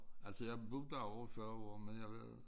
Altså jeg har boet derovre i 40 år men jeg var